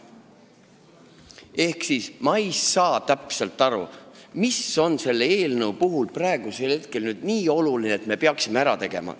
Ehk ma ei saa täpselt aru, mis on selle eelnõu puhul nii oluline, et me peaksime selle praegu ära tegema.